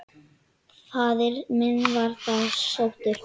Faðir minn var þá sóttur.